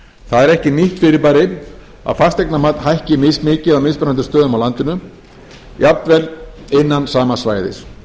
það er ekki nýtt fyrirbæri að fasteignamat hækki mismikið á mismunandi stöðum á landinu jafnvel innan sama svæðis